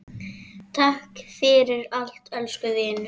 Takk fyrir allt, elsku vinur.